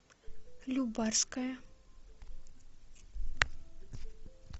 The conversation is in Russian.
любарская